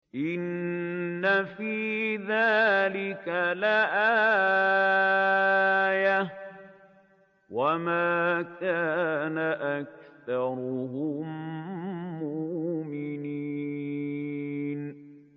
إِنَّ فِي ذَٰلِكَ لَآيَةً ۖ وَمَا كَانَ أَكْثَرُهُم مُّؤْمِنِينَ